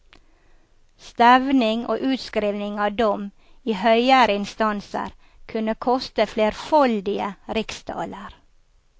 Stevning og utskriving av dom i høyere instanser kunne koste flerfoldige riksdaler.